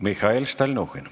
Mihhail Stalnuhhin.